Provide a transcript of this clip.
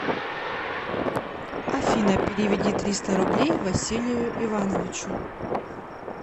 афина переведи триста рублей василию ивановичу